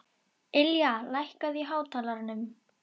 Ylja, lækkaðu í hátalaranum.